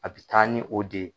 A bɛ taa ni o de ye.